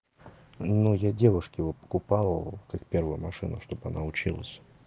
ну я девушке вот покупал как первую машину чтобы она училась